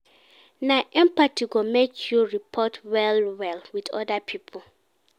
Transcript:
Na empathy go make you rapport well-well wit oda pipo.